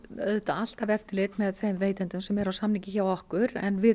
alltaf eftirlit með þeim veitendum sem eru á samningi hjá okkur en við